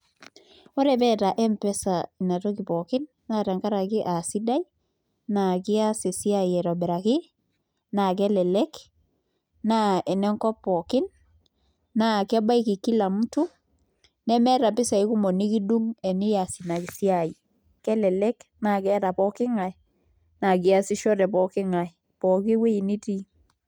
Ore pee eeta Mpesa Nena tokitin pookin naa tenkaraki aa sidai naa kees esiai aitobiraki naa kelelek naa ene nkop pookin naa kebaiki kila mtu nemeeta mpisaai kumok nikidung' eniaas in siai kelelek naa keeta pooki ng'ae naa keesisho te pooki ng'ae pooki wueji nitii.